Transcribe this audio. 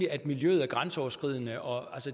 at miljøet er grænseoverskridende og